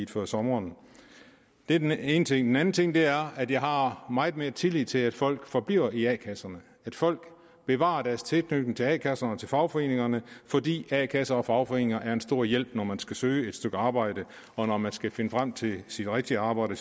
før sommeren det er den ene ting den anden ting er at jeg har meget mere tillid til at folk forbliver i a kasserne at folk bevarer deres tilknytning til a kasserne til fagforeningerne fordi a kasser og fagforeninger er en stor hjælp når man skal søge et stykke arbejde og når man skal finde frem til sit rigtige arbejde